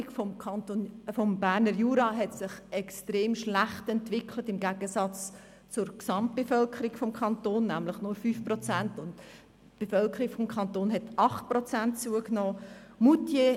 Die Wohnbevölkerung des Berner Juras hat sich extrem schlecht entwickelt, im Gegensatz zur Gesamtbevölkerung des Kantons, nämlich nur 5 Prozent gegenüber einer Zunahme von 8 Prozent im gesamten Kanton.